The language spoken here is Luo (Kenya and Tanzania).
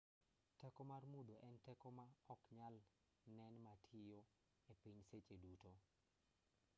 teko mar mudho en teko ma oknyal nen matiyo e piny seche duto